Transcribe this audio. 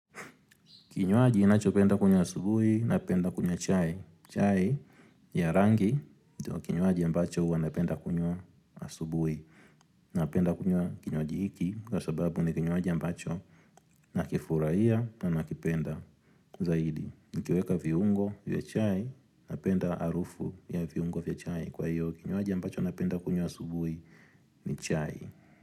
Kinywaji inacho penda kunywa asubui napenda kunywa chai. Chai ya rangi, kinywaji ambacho huwa napenda kunywa asubui. Napenda kunywa kinywaji hiki kwa sababu ni kinywaji ambacho nakifurahia na nakipenda. Zaidi, nikiweka viungo vya chai, napenda arufu ya viungo vya chai. Kwa hiyo, kinywaji ambacho napenda kunywa asubui ni chai.